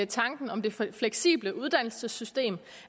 tanken om det fleksible uddannelsessystem